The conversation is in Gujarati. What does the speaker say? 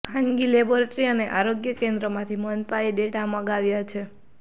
ખાનગી લેબોરેટરી અને આરોગ્ય કેન્દ્રોમાંથી મનપાએ ડેટા મંગાવ્યા છે